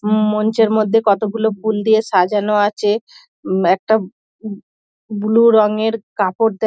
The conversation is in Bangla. ম মঞ্চের মধ্যে কতগুলো ফুল দিয়ে সাজানো আছে একটা উ ব্লু রঙের কাপড় দেও --